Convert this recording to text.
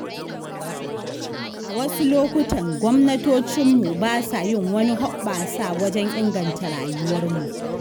A wasu lokutan gwamnatocinmu ba sa yin wani hoɓɓasa wajen inganta rayuwarmu.